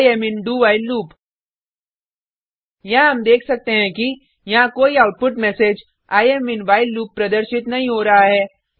I am in do while loop यहाँ हम देख सकते हैं कि यहाँ कोई output message I am in while loop प्रदर्शित नहीं हो रहा है